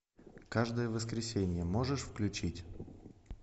каждое воскресенье можешь включить